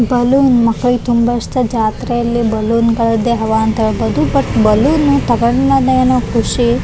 Balloon ಮಕ್ಕ್ಳಿಗೆ ತುಂಬಾ ಇಷ್ಟ ಜಾತ್ರೆಯಲ್ಲಿ ಬಲೂನ್ ಗಳದ್ದೇ ಹವ ಅಂತ ಹೇಳ್ಬಹುದು ಬಟ್ ಬಲೂನ್ ತಕೊಂಡ್ ಮ್ಯಾಲೆ ಏನೋ ಕುಷಿ.